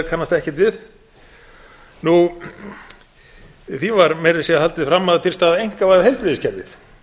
kannast ekkert við því var meira að segja haldið fram að til stæði að einkavæða heilbrigðiskerfið